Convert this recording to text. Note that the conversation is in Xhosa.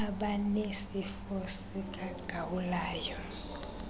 abanesifo sika gawulayo